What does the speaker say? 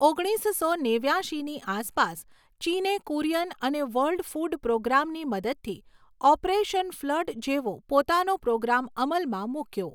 ઓગણીસસો નેવ્યાશીની આસપાસ, ચીને કુરિયન અને વર્લ્ડ ફૂડ પ્રોગ્રામની મદદથી 'ઓપરેશન ફ્લડ' જેવો પોતાનો પ્રોગ્રામ અમલમાં મૂક્યો.